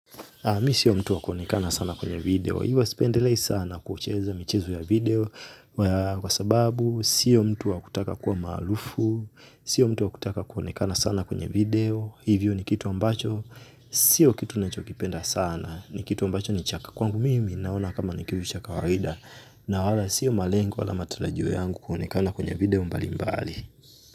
Mi sio mtu wa kuonekana sana kwenye video. Hivyo sipendelei sana kucheza michezo ya video. Kwa sababu, sio mtu wa kutaka kuwa maarufu. Sio mtu wa kutaka kuonekana sana kwenye video. Hivyo ni kitu ambacho. Sio kitu ninachokipenda sana. Ni kitu ambacho ni cha kwangu mimi naona kama ni kitu cha kawaida. Na wala sio malengo wala matarajio yangu kuonekana kwenye video mbalimbali.